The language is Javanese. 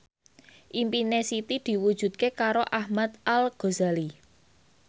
impine Siti diwujudke karo Ahmad Al Ghazali